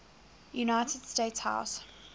united states house